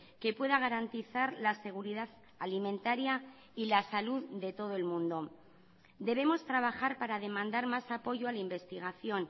que pueda garantizar la seguridad alimentaria y la salud de todo el mundo debemos trabajar para demandar más apoyo a la investigación